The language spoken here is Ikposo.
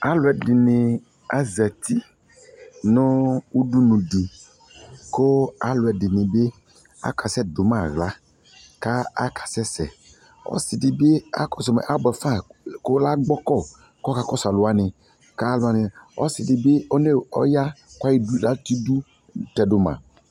Aluɛde ne azati no udunu de ko ɛluɛde ne be akasɛ do ma ahla, la aka sɛsɛ Ɔse de akɔso ma buɛ fa ko la gbɔkɔ kɔkɔ kɔso alu wane ka alu wane, ɔse de be oneo, ɔya ka tɛdu tɛdo ma